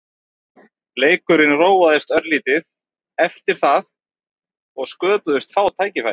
Leikurinn róaðist örlítið eftir það og sköpuðust fá færi.